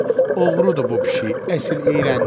Oğrudur bu pişik, əsl iyrəncidir.